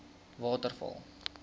waterval